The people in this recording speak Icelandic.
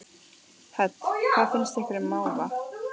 Hödd: Hvað finnst ykkur um máva?